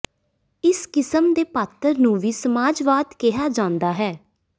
ਇਸ ਕਿਸਮ ਦੇ ਪਾਤਰ ਨੂੰ ਵੀ ਸਮਾਜਵਾਦ ਕਿਹਾ ਜਾਂਦਾ ਹੈ